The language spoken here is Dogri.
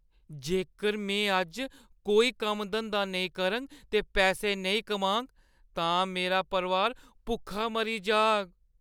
जेकर में अज्ज कोई कम्म-धंदा नेईं करङ ते पैसे नेईं कमाङ, तां मेरा परोआर भुक्खा मरी जाह्‌ग।